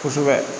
Kosɛbɛ